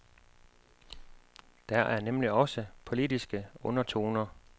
Der er nemlig også politiske undertoner.